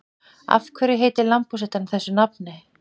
Af hverju heitir lambhúshetta þessu nafni?